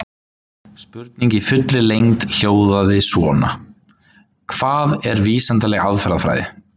Spurningin í fullri lengd hljóðaði svona: Hvað er vísindaleg aðferðafræði?